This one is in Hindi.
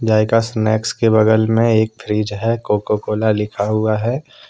ज़ायका स्नैक्स के बगल में एक फ्रिज है कोको कोला लिखा हुआ है।